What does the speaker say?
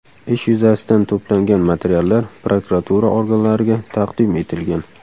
Ish yuzasidan to‘plangan materiallar prokuratura organlariga taqdim etilgan.